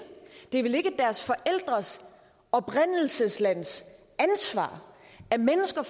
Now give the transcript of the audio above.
det er vel ikke deres forældres oprindelseslands ansvar at mennesker